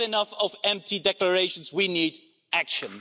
We have had enough of empty declarations. We need action.